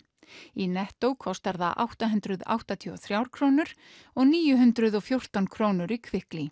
í Netto kostar það átta hundruð áttatíu og þrjár krónur og níu hundruð og fjórtán krónur í